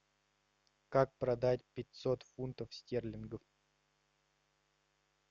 как продать пятьсот фунтов стерлингов